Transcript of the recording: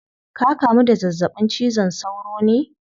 Ka kamu da zazzabin cizon sauro ne?